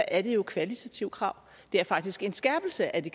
er jo kvalitative krav det er faktisk en skærpelse af de